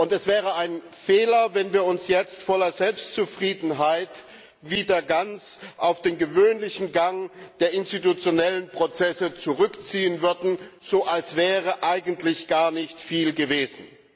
Es wäre ein Fehler, wenn wir uns jetzt voller Selbstzufriedenheit wieder ganz auf den gewöhnlichen Gang der institutionellen Prozesse zurückziehen würden, als wäre eigentlich gar nicht viel gewesen.